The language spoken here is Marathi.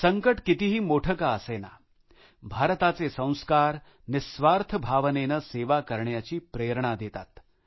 संकट कितीही मोठे का असेना भारताचे संस्कार निस्वार्थ भावनेनं सेवा करण्याची प्रेरणा देतात